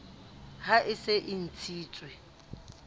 ha e se e ntshitswe